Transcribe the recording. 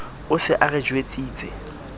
o se a re jwetsitse